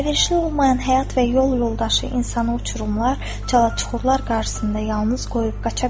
Əlverişli olmayan həyat və yol yoldaşı insanı uçurumlar, çalaçuxurlar qarşısında yalnız qoyub qaça bilər.